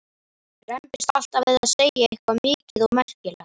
Rembist alltaf við að segja eitthvað mikið og merkilegt.